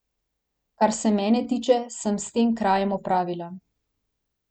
Kar se mene tiče, sem s tem krajem opravila.